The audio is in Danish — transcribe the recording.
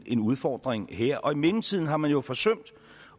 en udfordring her og i mellemtiden har man jo forsømt